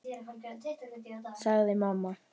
sagði mamma.